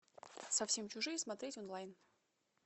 совсем чужие смотреть онлайн